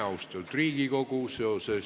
Austatud Riigikogu!